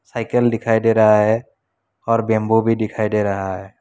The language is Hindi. साइकिल डिखाई डे रहा है और बंबू भी डिखाई डे रहा है।